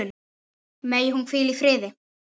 Megi hún hvíla í friði.